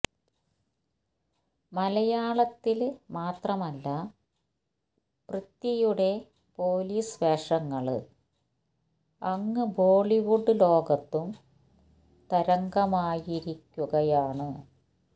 മലയാളത്തില് മാത്രമല്ല പൃഥ്വിയുടെ പൊലീസ് വേഷങ്ങള് അങ്ങ് ബോളിവുഡ് ലോകത്തും തരംഗമായിരിക്കുകയാണ്